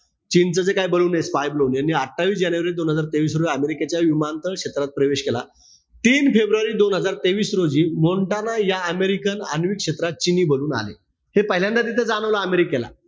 चीन च जे काय ballon ए, spy ballon हे अठ्ठावीस जानेवारी दोन हजार तेवीस रोजी अमेरिकेच्या विमानतळ क्षेत्रात प्रवेश केला. तीन फेब्रुवारी दोन हजार तेवीस रोजी मोन्टाना या अमेरिकन आण्विक क्षेत्रात चिनी ballon आले. हे पहिल्यांदा तिथं जाणवलं अमेरिकेला.